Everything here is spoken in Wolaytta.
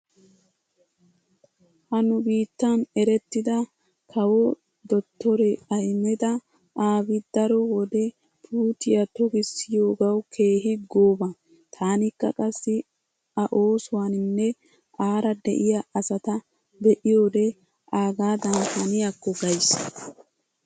Ha nu biittan errettida kawo dottore Ahimeda Aabi daro wode puutiya tokissiyoogawu keehi gooba. Taanikka qassi a oosuwaninne aara diya asata be'iyode aagaadan haniyakko gays.